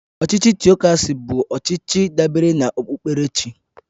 Ọchịchị Tịokracy bụ ọchịchị dabere na okpukperechi